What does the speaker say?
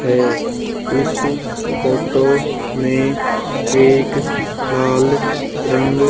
है इस फोटो में एक लाल रंग--